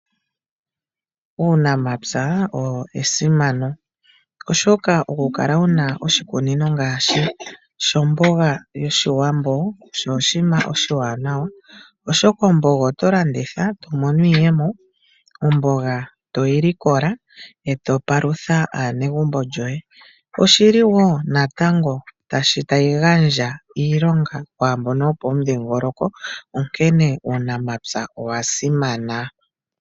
Uunamapya owo esimano oshoka oku kala wuna oshikunino ngaashi shomboga yoshiwambo osho oshinima oshiwanawa. Oshoka omboga oto landitha eto mono iiyemo, omboga toyi likola eto palutha aanegumbo lyoye. Oshi li wo natango tayi gandja iilonga kwaambono yo pomudhingoloko onkene uunamapya owasimana.